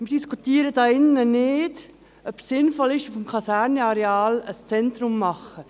Wir diskutieren hier drin nicht, ob es sinnvoll ist, auf dem Kasernenareal ein Zentrum zu machen.